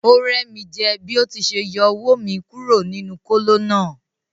O rẹ mi jẹ bi o ti ṣe yọ owó mí kúrò nínú kolo náà.